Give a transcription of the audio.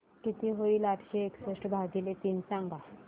किती होईल आठशे एकसष्ट भागीले तीन सांगा